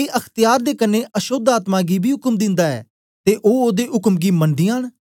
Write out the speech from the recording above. ए अख्त्यार दे कन्ने अशोद्ध आत्मा गी बी उक्म दिंदा ऐ ते ओ ओदे उक्म गी मनदीयां न